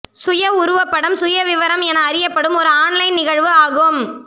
சுய உருவப்படம் சுயவிவரம் என அறியப்படும் ஒரு ஆன்லைன் நிகழ்வு ஆகும்